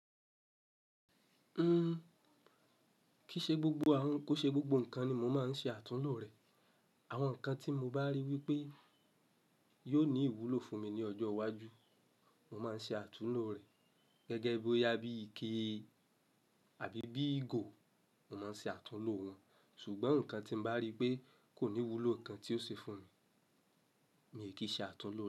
Uhm, kìí ṣe gbogbo àwọn, kò ṣe gbogbo nǹkan ni mo máa ń ṣe àtúnlò rẹ̀. Àwọn nǹkan tí mo bá rí wípé yóò ní ìwúlò fún mi ní ọjọ́ iwájú, mo máa ń ṣe àtúnlò rẹ̀. Gẹ́gẹ́ bí ó yá bí ike àbí bí igo, mo máa ń ṣe àtúnlò wọn. Ṣùgbọ́n nǹkan tí mo bá rí pé kò ní ìwúlò kan tí ó ṣe fún mi, mi ò kì í ṣe àtúnlò rẹ̀.